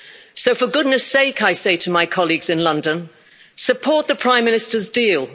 So for goodness sake, I say to my colleagues in London, support the Prime Minister's deal.